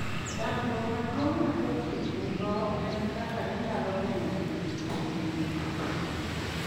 Chandruok maduong' ma jopith nigo en kaka ginyalo geng'o tuoche kuom nyithindgi.